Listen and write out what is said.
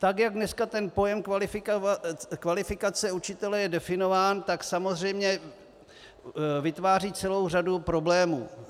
Tak jak dneska ten pojem kvalifikace učitele je definován, tak samozřejmě vytváří celou řadu problémů.